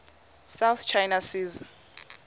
south china sea